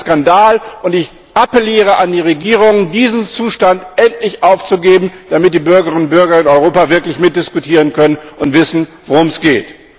Das ist ein Skandal, und ich appelliere an die Regierungen, diesen Zustand endlich aufzugeben, damit die Bürgerinnen und Bürger in Europa wirklich mitdiskutieren können und wissen, worum es geht.